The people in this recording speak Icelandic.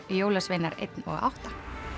jólasveinar einn og átta